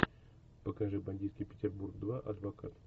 покажи бандитский петербург два адвокат